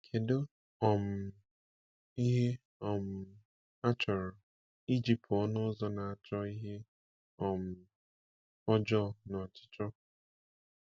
Kedu um ihe um achọrọ iji pụọ n’ụzọ na-achọ ihe um ọjọọ na ọchịchọ?